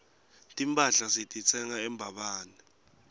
timphahla sititsenga embabane